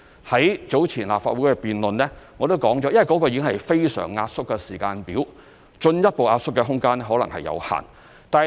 在早前立法會的辯論，我已提及，這已經是非常壓縮的時間表，進一步壓縮的空間可能有限。